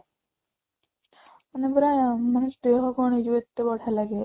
ମାନେ ପୁରା ମାନେ ଦେହ କ'ଣ ହେଇ ଯିବ ଏତେ ବଢିଆ ଲାଗେ